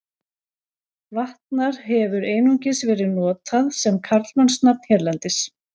Vatnar hefur einungis verið notað sem karlmannsnafn hérlendis.